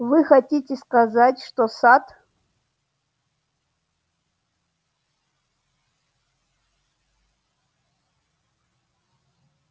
вы хотите сказать что сатт